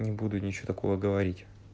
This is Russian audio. не буду ничего такого говорить